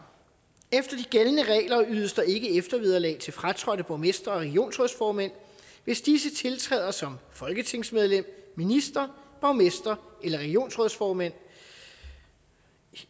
efter de gældende regler ydes der ikke eftervederlag til fratrådte borgmestre og regionsrådsformænd hvis disse tiltræder som folketingsmedlem minister borgmester eller regionsrådsformand